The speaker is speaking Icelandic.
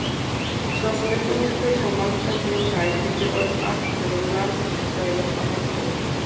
Sá sem er ungur og mannblendinn í dag getur orðið argur og aldraður á morgun.